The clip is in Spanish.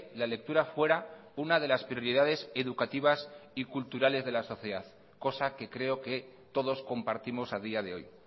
la lectura fuera una de las prioridades educativas y culturales de la sociedad cosa que creo que todos compartimos a día de hoy